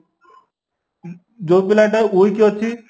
ଯୋଉ ପିଲାଟା weak ଅଛି